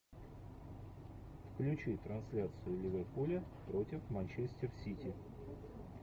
включи трансляцию ливерпуля против манчестер сити